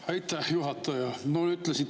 Aitäh, juhataja!